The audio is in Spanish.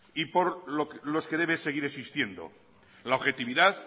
y por los que debe seguir existiendo la objetividad